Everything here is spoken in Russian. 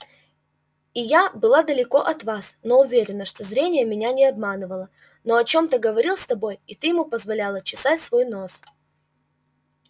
и я была далеко от вас но уверена что зрение меня не обманывало он о чем-то говорил с тобой и ты ему позволяла чесать свой нос